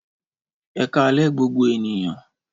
Ẹkalẹ gbogbo ènìyàn